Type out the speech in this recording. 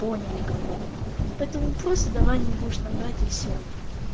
поняли как бы поэтому просто давай не будешь нам врать и всё